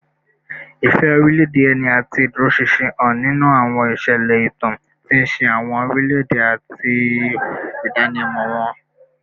Ìfẹ́ orílẹ̀-èdè ẹni àti ìdúróṣinṣin hàn nínú àwọn ìṣẹ̀lẹ̀ ìtàn, tí ń ṣe àwọn orílẹ̀-èdè àti ìdánimọ̀ wọn